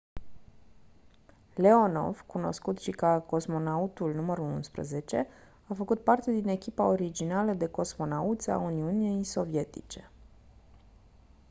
leonov cunoscut și ca «cosmonautul nr. 11» a făcut parte din echipa originală de cosmonauți a uniunii sovietice.